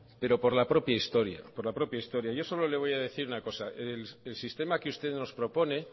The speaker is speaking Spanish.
pero por la propia historia por la propia historia yo solo le voy a decir una cosa el sistema que usted nos propone